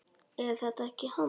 Er þetta ekki hann